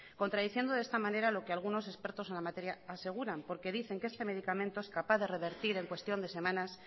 contradiciendo de esta manera lo que algunos expertos en la materia aseguran porque dicen que este medicamento es capaz de revertir en cuestión de semanas